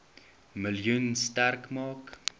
miljoen sterk maak